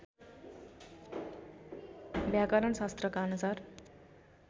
व्याकरण शास्त्रका अनुसार